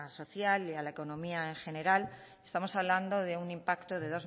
social y la economía en general estamos hablando de un impacto de